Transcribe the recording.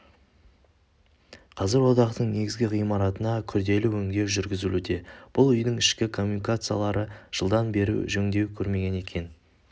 қазір одақтың негізігі ғимаратына күрделі өндеу жүргізілуде бұл үйдің ішкі коммуникациялары жылдан бері жөндеу көрмеген екен